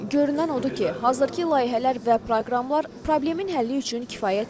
Görünən odur ki, hazırki layihələr və proqramlar problemin həlli üçün kifayət deyil.